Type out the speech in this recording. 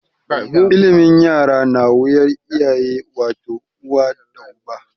Ilimin yara na wuyar iyaye wato, uwa da uba.